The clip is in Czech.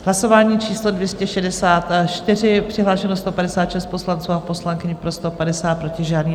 Hlasování číslo 264, přihlášeno 156 poslanců a poslankyň, pro 150, proti žádný.